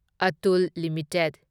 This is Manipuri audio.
ꯑꯇꯨꯜ ꯂꯤꯃꯤꯇꯦꯗ